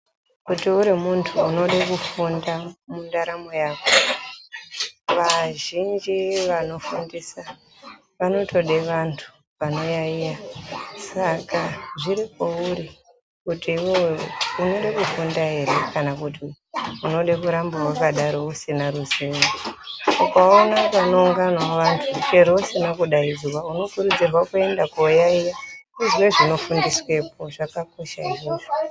Kuti uru muntu unoda kufunda mundaramo yako, vazhinji vanofundisa vanotoda vantu vanoyaiya. Saka zviri kwauri kuti iwewe unoda kufunda ere kana kuti unoda kuramba wakadaro usina ruzivo. Ukaona panounganawo vantu chero usina kudaidzwa unokurudzirwa kuenda kooyaiya uzwe zvinofundiswa po zvakakosha izvozvo.